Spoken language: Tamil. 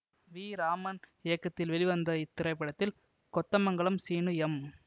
வி ராமன் இயக்கத்தில் வெளிவந்த இத்திரைப்படத்தில் கொத்தமங்கலம் சீனு எம்